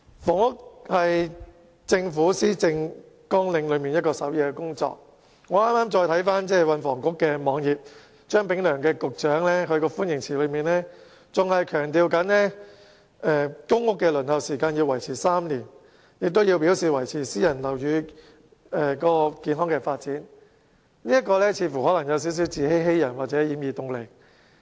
房屋是政府施政綱領的首要工作，我剛才瀏覽運輸及房屋局的網頁時發現，張炳良局長的歡迎辭依然強調公屋的輪候時間維持3年，並表示要維持私人物業市場的健康發展，這未免有點自欺欺人或掩耳盜鈴。